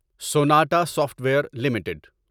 Sonata Software ویئر limited